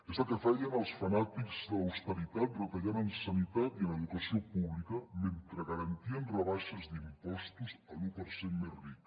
és el que feien els fanàtics de l’austeritat retallant en sanitat i en educació pública mentre garantien rebaixes d’impostos a l’u per cent més ric